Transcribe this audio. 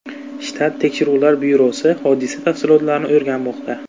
Shtat tekshiruvlar byurosi hodisa tafsilotlarini o‘rganmoqda.